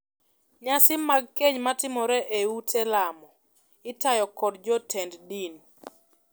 Nyasi mag keny matimore ei ute lamo itayo kod jotend din.